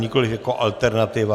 Nikoliv jako alternativa.